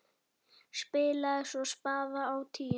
Spilaði svo spaða á tíuna!